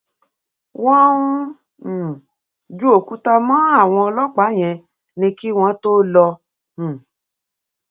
wọn ń um ju òkúta mọ àwọn ọlọpàá yẹn ni kí wọn tóó lọ um